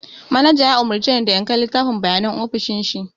Manaja ya umurce ni da in kai littafin bayanai ofishin shi